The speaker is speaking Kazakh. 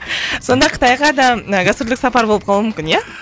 сонда қытайға да ы гастрольдік сапар болып қалуы мүмкін иә